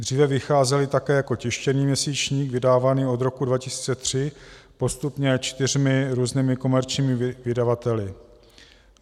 Dříve vycházely také jako tištěný měsíčník vydávaný od roku 2003 postupně čtyřmi různými komerčními vydavateli.